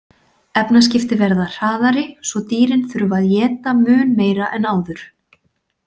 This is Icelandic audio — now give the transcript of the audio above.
Efnaskipti verða hraðari svo dýrin þurfa að éta mun meira en áður.